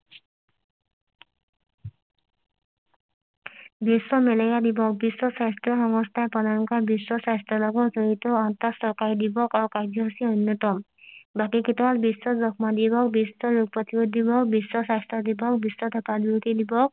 বিশ্ব malaria দিৱস বিশ্ব স্বাস্থ্য সংস্থা প্ৰধানকৈ বিশ্ব স্বাস্থ্যৰ লগত জড়িত আঠটা চৰকাৰি দিৱস আৰু কাৰ্য্যসূচী অন্যতম বাকি কেইটা হল বিশ্ব যক্ষ্মা দিৱস বিশ্ব ৰোগ প্ৰতিৰোধ দিৱস বিশ্ব স্বাস্থ্য দিৱস বিশ্ব ধপাঁত বিৰোধী দিৱস